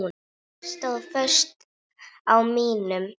Ég stóð föst á mínu.